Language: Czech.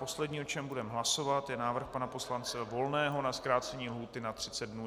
Poslední, o čem budeme hlasovat, je návrh pana poslance Volného na zkrácení lhůty na 30 dnů.